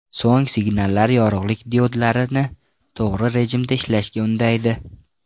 So‘ng signallar yorug‘lik diodlarini to‘g‘ri rejimda ishlashga undaydi.